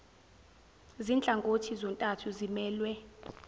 zinhlangothi zontathu zimelwe